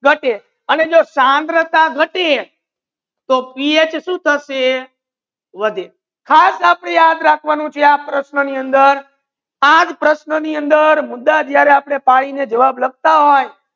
ગતે આને સાંદ્રતા જો ગતે તો પીએચ સુ થસે વધે ખાસ આપડે આ યાદ રખવાનુ છે આ જ પ્રશ્નો ની અંદર મુદ્દા જ્યારે આપડે જવાબ લખતા હોય